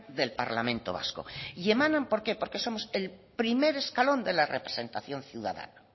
del parlamento vasco y emanan por qué porque somos el primer escalón de la representación ciudadana